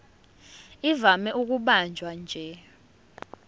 ivame ukubanjwa nje